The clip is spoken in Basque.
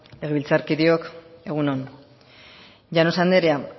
legebiltzarkideok egun on llanos anderea